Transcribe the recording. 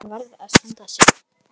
Hann varð að standa sig.